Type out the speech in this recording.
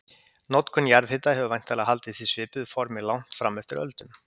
Notkun jarðhita hefur væntanlega haldist í svipuðu formi langt fram eftir öldum.